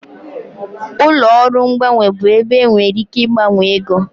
Ụlọ ọrụ mgbanwe bụ ebe ị nwere ike ịgbanwe ego